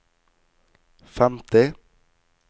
femti